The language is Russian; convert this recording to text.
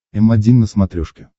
м один на смотрешке